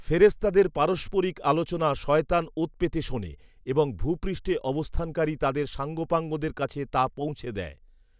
ফেরেস্তাদের পারস্পরিক আলোচনা শয়তান ওঁৎ পেতে শোনে এবং ভূপৃষ্ঠে অবস্থানকারী তাদের সাঙ্গপাঙ্গদের কাছে তা পৌঁছে দেয়